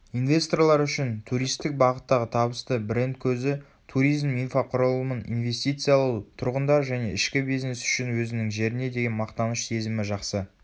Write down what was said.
инвесторлар үшін туристік бағыттағы табысты бренд көзі туризм инфрақұрылымын инвестициялау тұрғындар және ішкі бизнес үшін өзінің жеріне деген мақтаныш сезімі жақсы